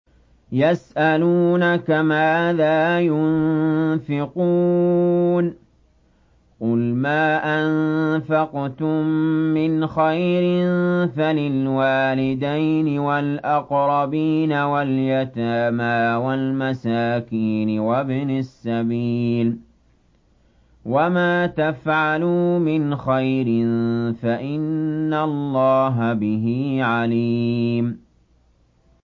يَسْأَلُونَكَ مَاذَا يُنفِقُونَ ۖ قُلْ مَا أَنفَقْتُم مِّنْ خَيْرٍ فَلِلْوَالِدَيْنِ وَالْأَقْرَبِينَ وَالْيَتَامَىٰ وَالْمَسَاكِينِ وَابْنِ السَّبِيلِ ۗ وَمَا تَفْعَلُوا مِنْ خَيْرٍ فَإِنَّ اللَّهَ بِهِ عَلِيمٌ